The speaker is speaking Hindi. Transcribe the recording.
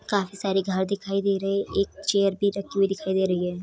काफी सारे घर दिखाई दे रहे हैं एक चेयर भी रखी हुई दिखाई दे रही है।